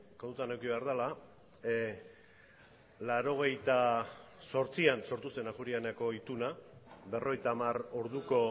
kontutan eduki behar dela mila bederatziehun eta laurogeita zortzian sortu zen ajuria eneako ituna berrogeita hamar orduko